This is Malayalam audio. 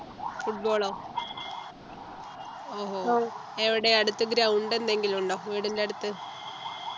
football ഓ ഓഹോ എവിടെ അടുത്ത് ground എന്തെങ്കിലും ഉണ്ടോ വീടിൻ്റെ അടുത്ത്